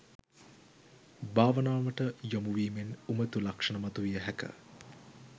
භාවනාවට යොමුවීමෙන් උමතු ලක්ෂණ මතු විය හැක.